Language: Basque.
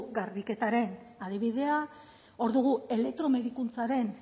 garbiketaren adibidea hor dugu elektromedikuntzaren